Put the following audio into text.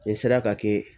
N'i sera ka kɛ